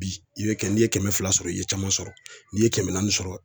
Bi i be kɛ n'i ye kɛmɛ fila sɔrɔ i ye caman sɔrɔ n'i ye kɛmɛ naani sɔrɔ